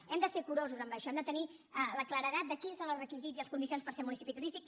hem de ser curosos en això hem de tenir la claredat de quins són els requisits i les condicions per ser municipi turístic